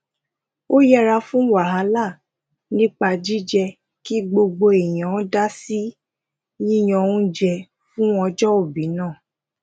ó yẹra fún wàhálà nípa jije ki gbogbo èèyàn dasi yiyan ounjẹ fun ojoobi náà